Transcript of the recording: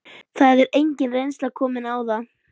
Það er engin reynsla komin á það.